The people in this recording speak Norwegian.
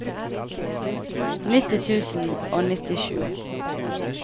nitti tusen og nittisju